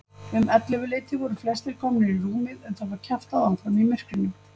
Um ellefuleytið voru flestir komnir í rúmið en það var kjaftað áfram í myrkrinu.